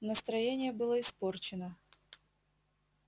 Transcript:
настроение было испорчено